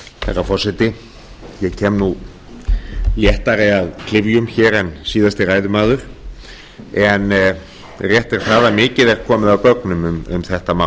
herra forseti ég kem léttari að klyfjum en síðasti ræðumaður en rétt er það að mikið er komið af gögnum um þetta mál